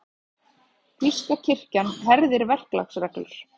Þýska kirkjan herðir verklagsreglur